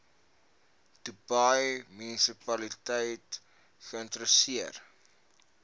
dubai munisipaliteit geïnisieer